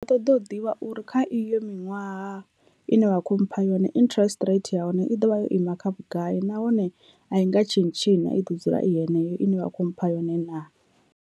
Ṱoḓe u ḓivha uri kha iyo miṅwaha ine wa kho mpha yone interest rate ya hone i ḓovha yo ima kha vhugai nahone a i nga tshintshi na i ḓo dzula i yeneyo ine vha kho mpha yone naa.